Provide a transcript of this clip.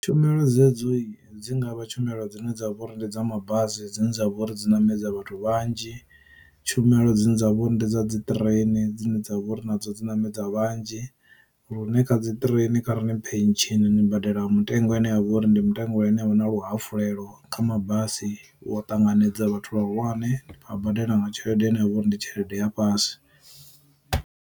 Tshumelo dzedzoyi dzi ngavha tshumela dzine dza vha uri ndi dza mabazi dzine dza vha uri dzi ṋamedza vhathu vhanzhi. Tshumelo dzine dza vha uri ndi dza dzi ṱireni dzine dza vha uri na dzo dzi ṋamedza vhanzhi, lune kha dzi ṱireni kha ri ṋi phesheni ni badela mutengo une wa vha uri ndi mutengo ane avha na luhafulelo kha mabasi u ṱanganedza vhathu vha hulwane vha badela nga tshelede ine ya vha uri ndi tshelede ya fhasi.